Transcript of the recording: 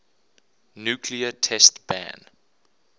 nuclear test ban